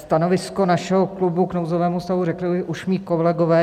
Stanovisko našeho klubu k nouzového stavu řekli už mí kolegové.